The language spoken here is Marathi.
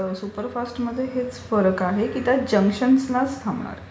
सुपरफास्ट मध्ये हाच फरक आहे की त्या जंक्शनस नाच थांबणार.